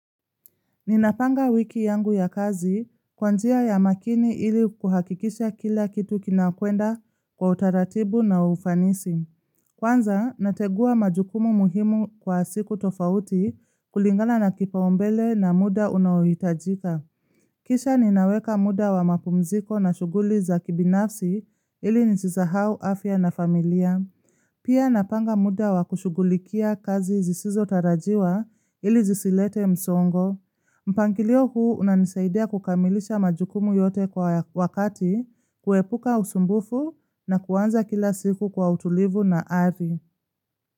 Ninapanga wiki yangu ya kazi kwanjia ya makini ili kuhakikisha kila kitu kinakwenda kwa utaratibu na ufanisi. Kwanza, nategua majukumu muhimu kwa siku tofauti kulingana na kipaombele na muda unawitajika. Kisha ninaweka muda wa mapumziko na shuguli za kibinafsi ili nisisahau, afya na familia. Pia napanga muda wa kushugulikia kazi zisizo tarajiwa ili zisilete msongo. Mpangilio huu unanisaidia kukamilisha majukumu yote kwa wakati kuepuka usumbufu na kuanza kila siku kwa utulivu na avi.